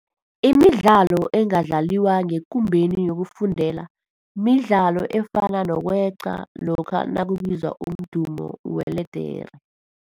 Imidlalo engadlaliwa ngekumbeni yokufundela midlalo efana nokweqa lokha nakubizwa umdumo weledere.